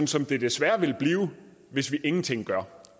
som det desværre vil blive hvis vi ingenting gør